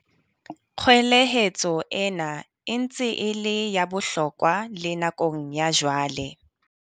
Kgwelehetso ena e ntse e le ya bohlokwa le nakong ya jwale.